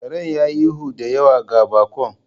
Karen ya yi ihu da yawa ga baƙon.